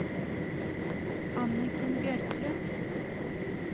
Anniken Bjørklund